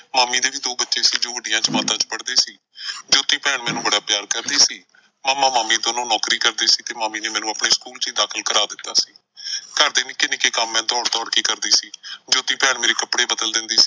ਮਾਮੀ ਦੇ ਵੀ ਦੋ ਬੱਚੇ ਸੀ ਜੋ ਵੱਡੀਆਂ ਜਮਾਤਾਂ ਚ ਪੜ੍ਹਦੇ ਸੀ, ਜੋਤੀ ਭੈਣ ਮੈਨੂੰ ਬੜਾ ਪਿਆਰ ਕਰਦੀ ਸੀ। ਮਾਮਾ ਮਾਮੀ ਦੋਨੋਂ ਨੌਕਰੀ ਕਰਦੇ ਸੀ ਤੇ ਮਾਮੀ ਨੇ ਮੈਨੂੰ ਆਪਣੇ ਸਕੂਲ ਚ ਈ ਦਾਖਲ ਕਰ ਦਿੱਤਾ ਸੀ। ਘਰਦੇ ਨਿੱਕੇ ਨਿੱਕੇ ਕੰਮ ਮੈਂ ਦੌੜ ਦੌੜ ਕੇ ਕਰਦੀ ਸੀ। ਜੋਤੀ ਭੈਣ ਮੇਰੇ ਕੱਪੜੇ ਬਦਲ ਦਿੰਦੀ ਸੀ।